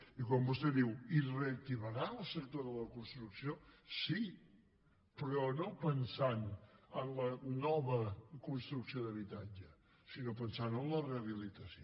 i quan vostè diu i es reactivarà el sector de la construcció sí però no pensant en la nova construcció d’habitatge sinó pensant en la rehabilitació